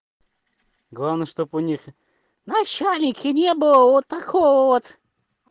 главное чтобы у них начальники не было вот такого вот